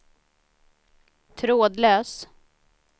trådlös